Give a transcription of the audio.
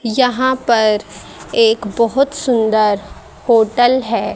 यहां पर एक बहुत सुंदर होटल है।